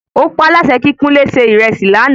Ó paá láṣẹ kí Kúnlé ṣe ìrẹsì lánàá